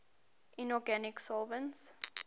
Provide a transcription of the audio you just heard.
inorganic solvents